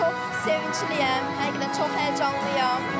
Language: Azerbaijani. Çox sevincliyəm, həqiqətən çox həyəcanlıyam.